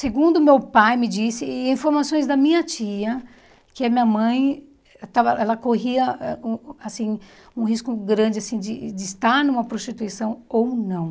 Segundo meu pai me disse, e informações da minha tia, que a minha mãe, estava ela corria ãh um assim um risco grande assim de de estar numa prostituição ou não.